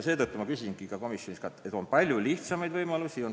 Seetõttu ma küsisingi ka komisonis, kas ei ole teisi, palju lihtsamaid võimalusi.